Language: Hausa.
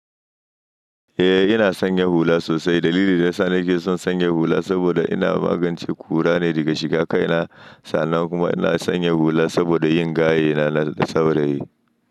Eh ina sanyaya hula sosai. Dalilin da yana sa nake son sanyaya hula saboda ina magance ƙura ne daga shika kai na. Sannan kuma ina sanyaya hula saboda yin gayye na na saurayi.